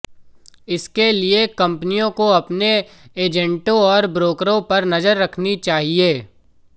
इसके लिए कंपनियों को अपने एजेंटों और ब्रोकरों पर नजर रखनी चाहिए